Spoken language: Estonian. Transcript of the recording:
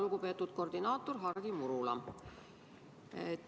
Lugupeetud koordinaator Hardi Murula!